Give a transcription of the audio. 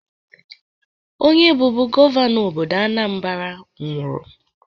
Onye bụbu gọvanọ obodo Anambra nwụrụ.